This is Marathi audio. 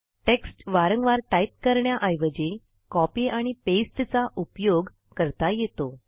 टेक्स्ट वारंवार टाईप करण्याऐवजी कॉपी पास्ते चा उपयोग करता येतो